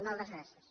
moltes gràcies